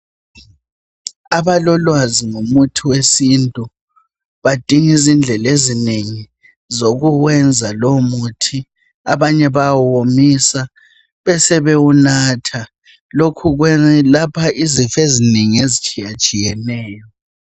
Abalolwazi ngomuthi wesintu badinga izindlela ezinengi zokuwenza lowomuthi. Abanye bayawuwomisa besebewunatha. Lokhu kwelapha izifo ezinengi ezitshiyatshiyeneyo.